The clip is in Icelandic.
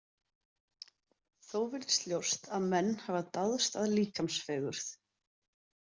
Þó virðist ljóst að menn hafa dáðst að líkamsfegurð.